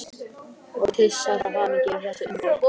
Og kyssast af hamingju yfir þessu undri.